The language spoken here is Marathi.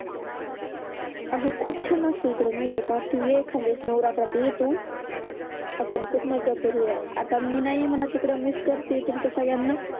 अग खूप छान असत इकडे माहिती आहे का तु ये एखाद्या दिवस नवरातत्रात ये तु हम्म आपण खूप मजा करू या आता मी नाही म्हणत तिकड मीच करते तुमच्या सगळ्यांना